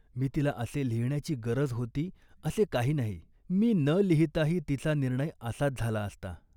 मी तिला असे लिहिण्याची गरज होती असे काही नाही. मी न लिहिताही तिचा निर्णय असाच झाला असता